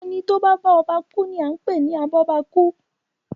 Ẹni tí o ba bá ọba ku ni a n pe ni Abọ́bakú.